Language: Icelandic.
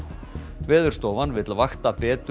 Veðurstofan vill vakta betur